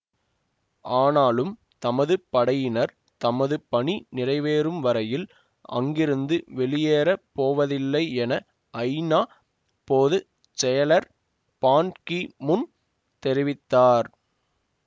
ஆனாலும் தமது படையினர் தமது பணி நிறைவேறும் வரையில் அங்கிருந்து வெளியேறப் போவதில்லை என ஐநா பொது செயலர் பான் கி முன் தெரிவித்தார்